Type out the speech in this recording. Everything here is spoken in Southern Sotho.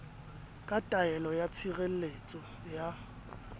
ka taelo ya tshireletso ya